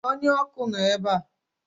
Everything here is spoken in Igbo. Onye ọkụ nọ ebe a